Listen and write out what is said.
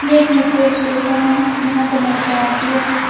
ये एक metro station है जहां से मेट्रो आती है।